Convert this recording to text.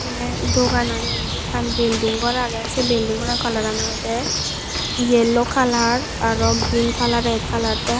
te dogan agey indi ekkan belding gor agey se belding gorano kalaran olode yello kalar araw grin kalar ret kalar te.